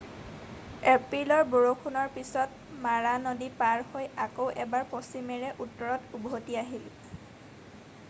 এপ্ৰিলৰ বৰষুণৰ পিছত মাৰা নদী পাৰ হৈ আকৌ এবাৰ পশ্চিমেৰে উত্তৰত উভতি আহিল